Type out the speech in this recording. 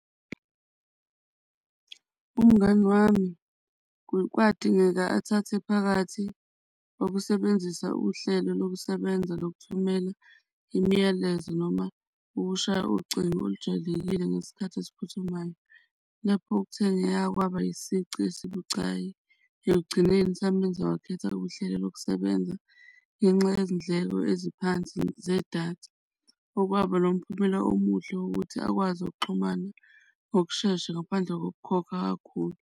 Umngani wami kwadingeka athathe phakathi okusebenzisa uhlelo lokusebenza lokuthumela imiyalezo noma ukushaya ucingo olujwayekile ngesikhathi esiphuthumayo. Lapho kuthengeka kwaba isici esibucayi ekugcineni samenza wakhetha uhlelo lokusebenza ngenxa yezindleko eziphansi zedatha, okwaba nomphumela omuhle wokuthi akwazi okuxhumana ngokushesha ngaphandle kokukhokha kakhulu.